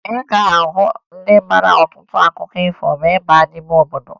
Ị ga-ahụ ndị mara ọtụtụ akụkọ ifo ma ị baa n'ime obodo